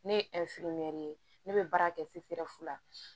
Ne ye ye ne bɛ baara kɛ la